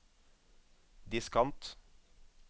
diskant